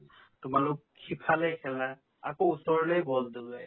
তোমালোক সিফালে খেলা আকৌ ওচৰলে ball দলিয়ায়